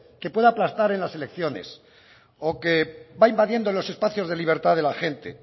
que pueda aplastar en las elecciones o que va invadiendo los espacios de libertad de la gente